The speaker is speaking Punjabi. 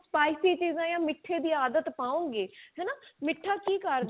spicy ਚੀਜ਼ਾਂ ਜਾਂ ਮੀਠੇ ਦੀ ਆਦਤ ਪਾਓ ਗੇ ਹਨਾ ਮੀਠਾ ਕੀ ਕਰਦਾ